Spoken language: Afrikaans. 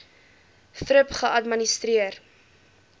thrip geadministreer